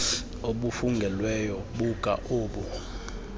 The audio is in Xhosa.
obufungelweyo buka obu